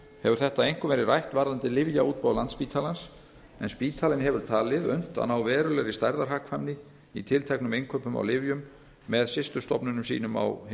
hefur þetta einkum verið rætt varðandi lyfjaútboð landspítalans en spítalinn hefur talið unnt að ná verulegri stærðarhagkvæmni í tilteknum innkaupum á lyfjum með systurstofnunum sínum annars staðar á